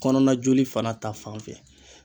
Kɔnɔna joli fana ta fan fɛ